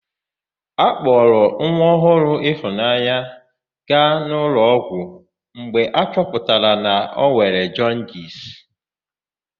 A kpọrọ nwa ọhụụ Ịfụnanya gaa n'ụlọọgwụ mgbe a chọpụtara na o nwere jọndisi.